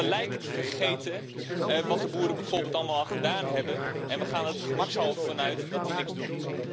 Maar we lijken te vergeten wat de boeren bijvoorbeeld allemaal al gedaan hebben en we gaan er gemakshalve vanuit dat die niks doen.